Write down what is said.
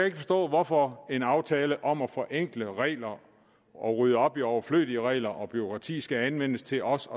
ikke forstå hvorfor en aftale om at forenkle regler og rydde op i overflødige regler og bureaukrati skal anvendes til også